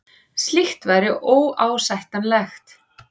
Slíkt væri óásættanlegt